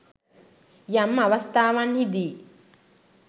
යම් අවස්ථාවන්හිදි